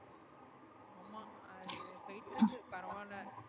பரவால